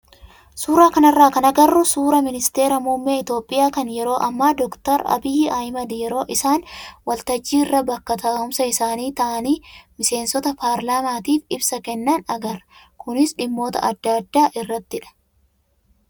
Suuraa kanarraa kan agarru suuraa ministeera muummee Itoophiyaa kan yeroo ammaa doktar Abiy Ahmad yeroo isaan waltajjii irra bakka taa'umsa isaanii taa'anii miseensota parlaamaatiif ibsa kennan agarra. Kunis dhimmoota adda addaa irrattidha.